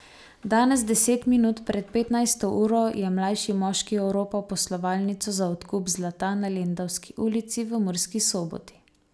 Danes deset minut pred petnajsto uro je mlajši moški oropal poslovalnico za odkup zlata na lendavski ulici v Murski Soboti.